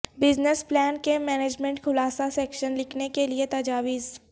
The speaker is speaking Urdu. بزنس پلان کے مینجمنٹ خلاصہ سیکشن لکھنے کے لئے تجاویز